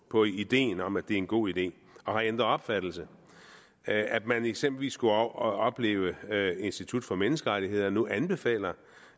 på ideen om at det er en god idé og har ændret opfattelse at man eksempelvis skulle opleve at institut for menneskerettigheder nu anbefaler